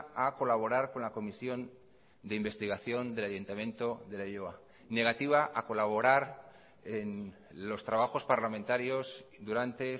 a colaborar con la comisión de investigación del ayuntamiento de leioa negativa a colaborar en los trabajos parlamentarios durante